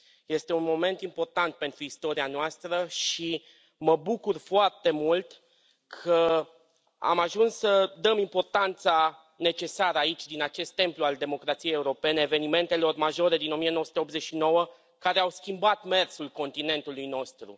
Este un moment important pentru istoria noastră și mă bucur foarte mult că am ajuns să dăm importanța necesară aici, din acest templu al democrației europene, evenimentelor majore din 1989 care au schimbat mersul continentului nostru.